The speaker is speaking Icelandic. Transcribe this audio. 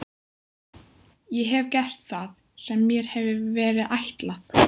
Ég hef gert það sem mér hefur verið ætlað.